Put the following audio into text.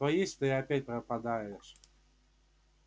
то есть ты опять пропадаешь